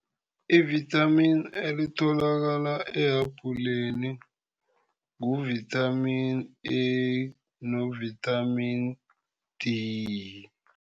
Ivithamini elitholakala ehabhuleni ngu-vithamini A no-vithamini D.